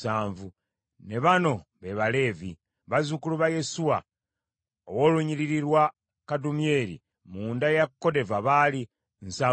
Ne bano be Baleevi: bazzukulu ba Yesuwa ow’olunnyiriri lwa Kadumyeri mu nda ya Kodeva baali nsavu mu bana (74).